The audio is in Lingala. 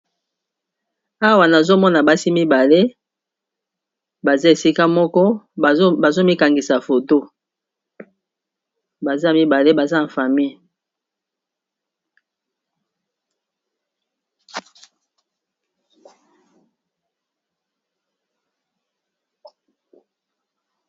Awa nazomona basi mibale baza esika moko bazo mikangisa foto na famille.